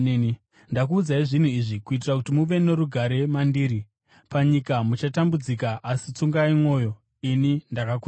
“Ndakuudzai zvinhu izvi, kuitira kuti muve norugare mandiri. Panyika muchatambudzika. Asi tsungai mwoyo! Ini ndakakunda nyika.”